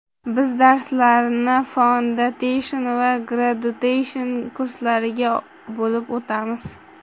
Biz darslarni Foundation va Graduation kurslariga bo‘lib o‘tamiz.